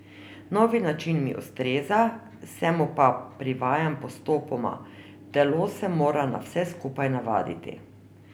Novi način mi ustreza, se mu pa privajam postopoma, telo se mora na vse skupaj navaditi.